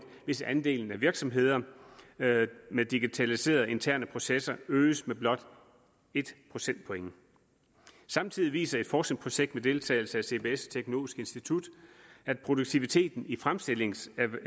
hvis andelen af virksomheder med digitaliseret interne processer øges med blot et procentpoint samtidig viser et forskningsprojekt med deltagelse af cbs og teknologisk institut at produktiviteten i fremstillingssektoren